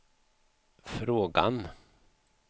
frågan